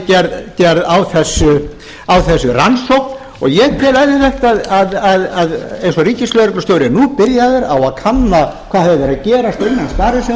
það sé gerð á þessu rannsókn ég tel eðlilegt eins og ríkislögreglustjóri er nú byrjaður á að kanna hvað hafi verið að gerast innan sparisjóðanna